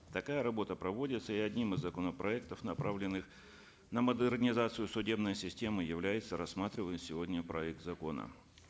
такая работа проводится и одним из законопроектов направленных на модернизацию судебной системы является рассматриваемый сегодня проект закона